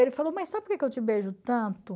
Ele falou, mãe sabe por que que eu te beijo tanto?